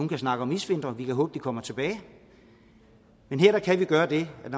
kan snakke om isvintre og vi kan håbe at de kommer tilbage men her kan vi gøre det at